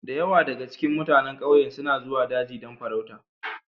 Da yawa daga cikin mutanen ƙauyen suna zuwa daji don farauta